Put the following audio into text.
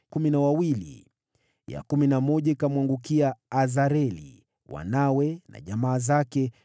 ya kumi na moja ikamwangukia Azareli, wanawe na jamaa zake, 12